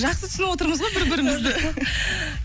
жақсы түсініп отырмыз ғой бір бірімізді